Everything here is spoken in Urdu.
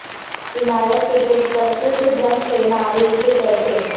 عمارت کے گیٹ پر سرخ رنگ سے نعرے لکھے گئے تھے